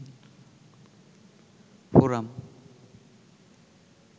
forum